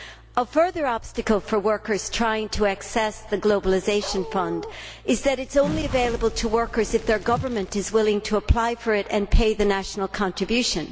A further obstacle for workers trying to access the Globalisation Fund is that it is only available to workers if their government is willing to apply for it and pay the national contribution.